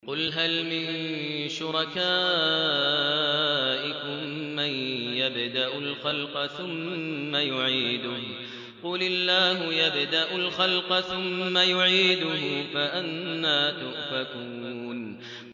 قُلْ هَلْ مِن شُرَكَائِكُم مَّن يَبْدَأُ الْخَلْقَ ثُمَّ يُعِيدُهُ ۚ قُلِ اللَّهُ يَبْدَأُ الْخَلْقَ ثُمَّ يُعِيدُهُ ۖ فَأَنَّىٰ تُؤْفَكُونَ